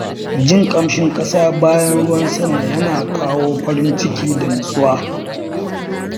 Jin ƙamshin ƙasa bayan ruwan sama yana kawo farin ciki da nutsuwa.